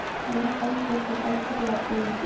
Mér fannst ég svo algjörlega ein.